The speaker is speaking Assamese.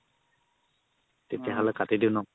তেতিয়া হ'লে কাতি দিও ন